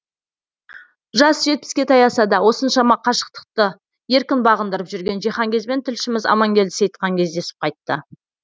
жасы жетпіске таяса да осыншама қашықтықты еркін бағындырып жүрген жиһанкезбен тілшіміз амангелді сейітхан кездесіп қайтты